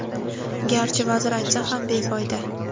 garchi vazir aytsa ham befoyda.